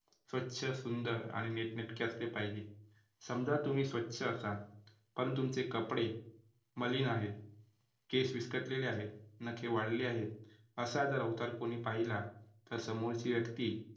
स्वच्छ सुंदर आणि नीटनेटके असले पाहिजे. समजा तुम्ही स्वच्छ असाल पण तुमचे कपडे मलिन आहेत, केस विस्कटलेले आहेत, नखे वाढलेले आहेत, असा जर अवतार कोणी पाहिला तर समोरची व्यक्ती